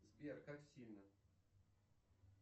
сбер как сильно